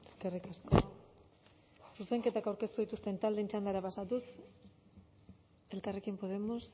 eskerrik asko zuzenketak aurkeztu dituzten taldeen txandara pasatuz elkarrekin podemos